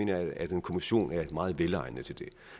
jeg at en kommission er meget velegnet til det